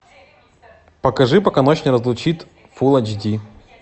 покажи пока ночь не разлучит фул айч ди